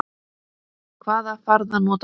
Hvaða farða notar þú?